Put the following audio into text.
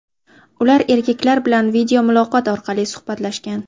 Ular erkaklar bilan videomuloqot orqali suhbatlashgan.